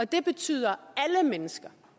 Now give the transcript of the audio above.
det betyder alle mennesker